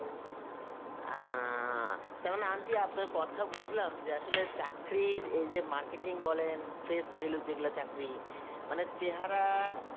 অ্যাঁ, তার মানে aunty আপনার কথা বুঝলাম যে আসলে চাকরির এই যে marketing বলেন face value যেগুলা চাকরি, মানে চেহারা